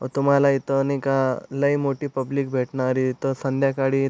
तुम्हाला इथं नय का लय मोठी पब्लिक भेटणारी इथं संध्याकाळी--